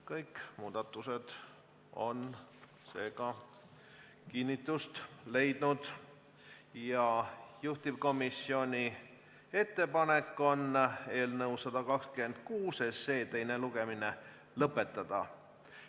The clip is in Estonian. Kõik muudatused on kinnitust leidnud ja juhtivkomisjoni ettepanek on eelnõu 126 teine lugemine lõpetada.